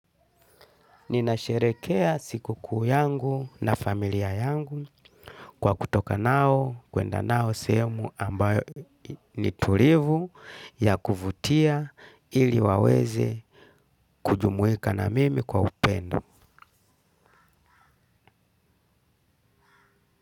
Ninasherehekea siku kuu yangu na familia yangu kwa kutoka nao kuenda nao sehemu ambayo ni tulivu ya kuvutia ili waweze kujumuika na mimi kwa upendo.